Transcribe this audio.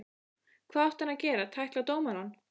Hvað átti hann að gera, tækla dómarann?